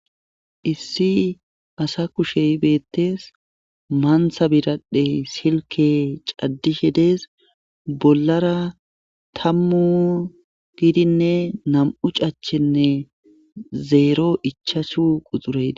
Issi asa kushey beettees maantha biradhey silke caddishe dees bollara tammu gidinne nam'u cachenne zeero ichasu quxuree.